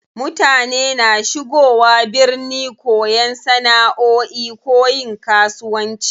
Mutane na shigowa birni koyan sana'oi ko yin kasuwanci.